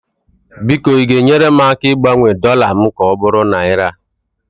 biko ị ga-enyere m aka ịgbanwe dọla m ka ọ bụrụ naira?